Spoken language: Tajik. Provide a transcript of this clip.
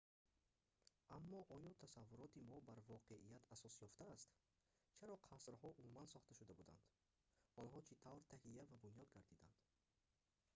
аммо оё тасаввуроти мо бар воқеият асос ёфтааст чаро қасрҳо умуман сохта шуда буданд онҳо чӣ тавр таҳия ва бунёд гардиданд